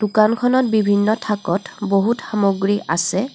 দোকানখনত বিভিন্ন থাকত বহুত সামগ্ৰী আছে.